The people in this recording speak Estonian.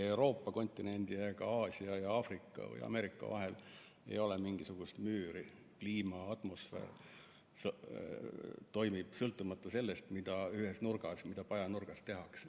Euroopa kontinendi ega Aasia ja Aafrika või Ameerika vahel ei ole mingisugust müüri, sest kliima, atmosfäär toimib sõltumata sellest, mida ühes pajanurgas tehakse.